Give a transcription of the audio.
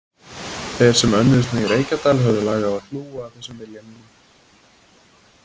Þeir sem önnuðust mig í Reykjadal höfðu lag á að hlúa að þessum vilja mínum.